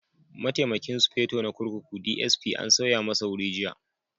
Mataimakin Sufeto na kurkuku (DSP) an sauya masa wuri jiya.